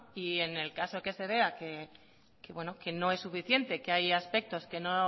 y en el caso de que se vea que no es suficiente que hay aspectos que no